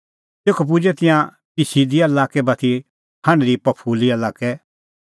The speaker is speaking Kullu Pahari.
तेखअ पुजै तिंयां पिसदिया लाक्कै बाती हांढदी पंफूलिआ लाक्कै